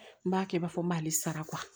N b'a kɛ i b'a fɔ n b'ale sara